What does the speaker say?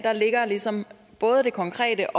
ligger ligesom både det konkrete